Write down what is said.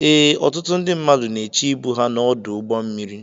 Ee, ọtụtụ ndị mmadụ na-eche ịbụ ha n'ọdụ ụgbọ mmiri.